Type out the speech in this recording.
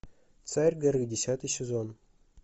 царь горы десятый сезон